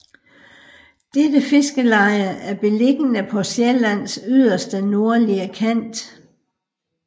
Dette Fiskerleie er beliggende paa Siællands yderste nordlige Kant